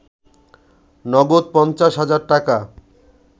নগদ ৫০ হাজার টাকা